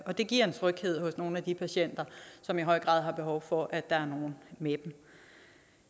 det giver en tryghed for nogle af de patienter som i høj grad har behov for at der er nogen med dem